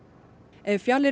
ef fjalir